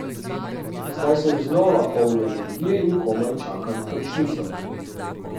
Zdaj sem znova poln energije in komaj čakam končnico.